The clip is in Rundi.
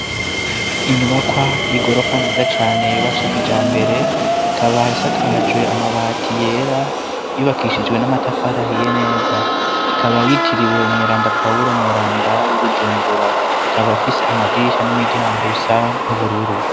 Inyubakwa y'igorofa nziza cane, yubatswe kijambere, ikaba isakajwe amabati yera, yubakishijwe n'amatafara ahiye neza, ikaba yitiriwe Umweranda Pawuro w'i Bujumbura, ikaba ifise amadirisha n'imiryango bisa n'ubururu.